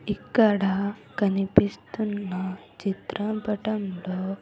ఇక్కడ కనిపిస్తున్న చిత్రంపటంలో.